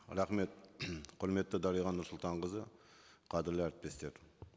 рахмет құрметті дариға нұрсұлтанқызы қадірлі әріптестер